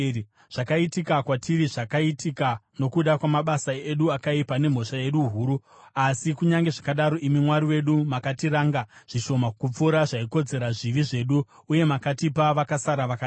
“Zvakaitika kwatiri zvakaitika nokuda kwamabasa edu akaipa nemhosva yedu huru, asi kunyange zvakadaro, imi Mwari wedu makatiranga zvishoma kupfuura zvaikodzera zvivi zvedu uye makatipa vakasara vakadai.